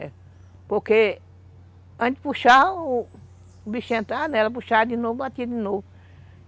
É. Porque antes de puxar, o bichinho entrava nela, puxava de novo, batia de novo.